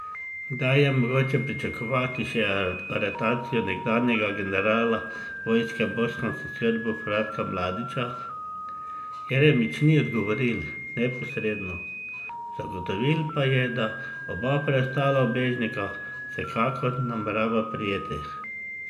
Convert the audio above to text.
Kdaj je mogoče pričakovati še aretacijo nekdanjega generala vojske bosanskih Srbov Ratka Mladića, Jeremić ni odgovoril neposredno, zagotovil pa je, da oba preostala ubežnika vsekakor namerava prijeti.